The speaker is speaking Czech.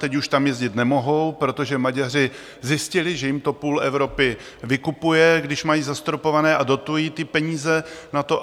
Teď už tam jezdit nemohou, protože Maďaři zjistili, že jim to půl Evropy vykupuje, když mají zastropované a dotují ty peníze na to.